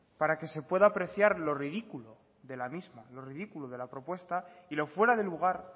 para que se pueda apreciar lo ridículo de la misma lo ridículo de la propuesta y lo fuera de lugar